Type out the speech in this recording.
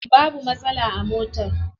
Babu matsala a motar.